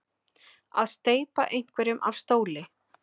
Að steypa einhverjum af stóli